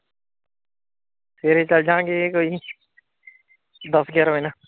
ਸਵੇਰੇ ਚੱਲਜਾਂਗੇ ਕੋਈ ਨੀ ਦੱਸ ਗਿਆਰਾਂ ਵਜੇ ਨਾਲ।